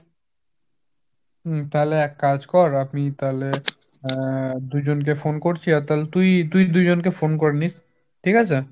হুঁ তাহলে এক কাজ কর আমি তাহলে আহ দুজন কে phone করছি আর তাহলে তুই তুই দুজন কে phone করে নিস, ঠিক আছে।